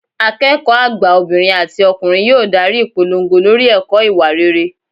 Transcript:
Akẹ́kọ̀ọ́ àgbà obìnrin àti ọkùnrin yóò darí ìpolongo lórí ẹ̀kọ́ ìwà rere